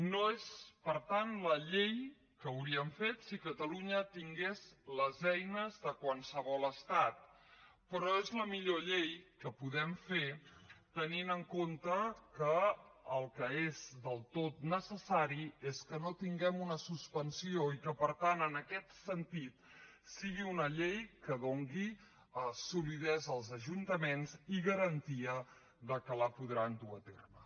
no és per tant la llei que hauríem fet si catalunya tingués les eines de qualsevol estat però és la millor llei que podem fer tenint en compte que el que és del tot necessari és que no tinguem una suspensió i que per tant en aquest sentit sigui una llei que doni solidesa als ajuntaments i garantia que la podran dur a terme